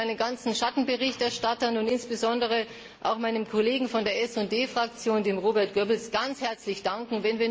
Ich möchte meinen Schattenberichterstattern und insbesondere auch meinem Kollegen von der SD Fraktion, Robert Goebbels, ganz herzlich danken.